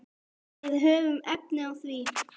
Við höfum efni á því.